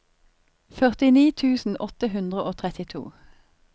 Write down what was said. førtini tusen åtte hundre og trettito